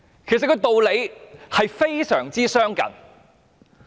其實，有關道理是非常相近的。